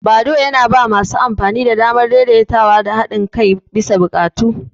Badoo yana ba masu amfani damar daidaitawa da haɗin kai bisa buƙatu.